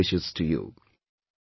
My best wishes to your